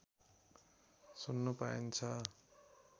सुन्न पाइन्छ